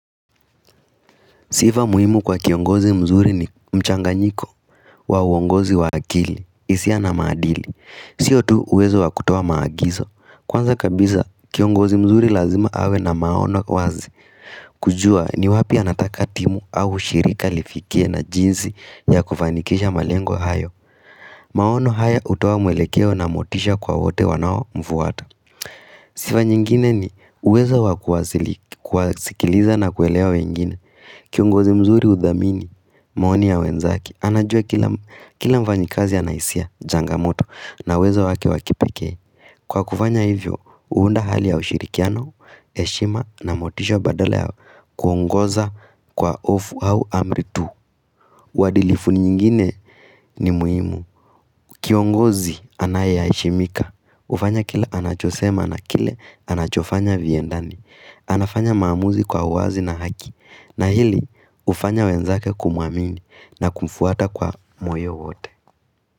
Sifa muhimu kwa kiongozi mzuri ni mchanganyiko wa uongozi wa akili, hisia, na maadili. Sio tu uwezo wa kutoa maagizo. Kwanza kabisa kiongozi mzuri lazima awe na maono wazi kujua ni wapi anataka timu au shirika lifikie na jinsi ya kufanikisha malengo hayo maono haya hutoa mwelekeo na motisha kwa wote wanaomfuata Sifa nyingine ni uwezo wa kuwasili kuwasikiliza na kuelea wengine Kiongozi mzuri hudhamini, maoni ya wenzake, anajua kila mfanyikazi ana hisia, changamoto, na uwezo wake wa kipekee. Kwa kufanya hivyo, huunda hali ya ushirikiano, heshima, na motisha badala ya kuongoza kwa hofu au amri tu. Uadilifu nyingine ni muhimu. Kiongozi anaye heshimika, hufanya kile anachosema na kile anachofanya viendane. Anafanya maamuzi kwa uwazi na haki, na hili hufanya wenzake kumuamini na kumfuata kwa moyo wote.